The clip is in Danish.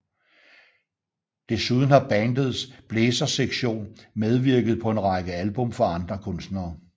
Desuden har bandets blæsersektion medvirket på en række album for andre kunstnere